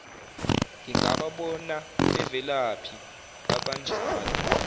ngingababona bevelaphi abanjalo